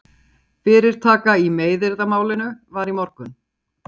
Fyrirtaka í meiðyrðamálinu var í morgun